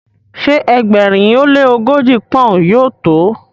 ṣe ẹgbẹrin o le ogoji poun yóò to?